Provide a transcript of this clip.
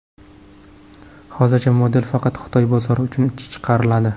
Hozircha model faqat Xitoy bozori uchun chiqariladi.